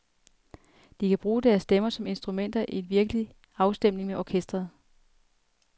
De kan bruge deres stemmer som instrumenter i virkelig afstemning med orkestret.